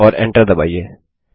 और Enter दबाइए